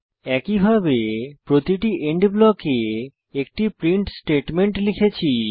একইভাবে প্রতিটি এন্ড ব্লকে একটি প্রিন্ট স্টেটমেন্ট লিখেছি